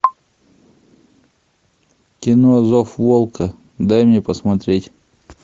кино зов волка дай мне посмотреть